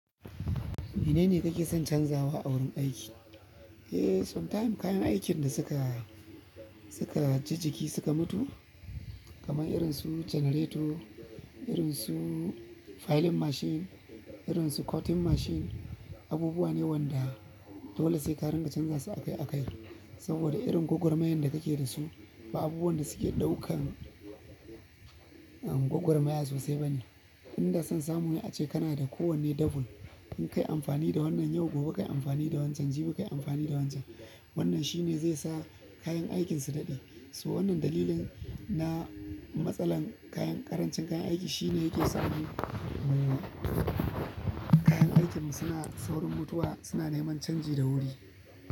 Menene kake son canzawa a wurin aiki? Eh, sometimes kayan aikin da suka, suka ji jiki suka mutu, kamar irin su generator, irin su filing machine, irin su cutting machine. Abubuwa ne wanda dole sai ka dinga canza su akai akai. Saboda irin gogwarmayan da kake da su, ba abubuwan da suke ɗaukan gogwarmaya sosai bane. Inda san samu ne ace kana da kowanne double. In kai amfani da wannan yau, gobe kayi amfani da wancan, jibi kayi amfani da wancan. Wannan shine ze sa kayan aikin su daɗe. So wannan dalilin na matsalan kayan, ƙarancin kayan aiki shine yake sa mu kayan aikinmu suna saurin mutuwa, suna neman canji da wuri.